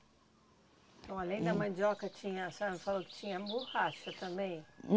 Então, além da mandioca tinha, a senhora não falou que tinha também.